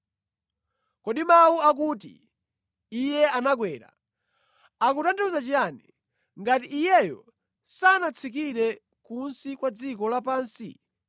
Kodi mawu akuti, “Iye anakwera” akutanthauza chiyani, ngati Iyeyo sanatsikire kunsi kwa dziko lapansi?